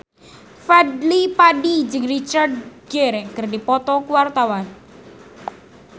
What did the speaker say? Fadly Padi jeung Richard Gere keur dipoto ku wartawan